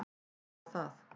Ég harma það.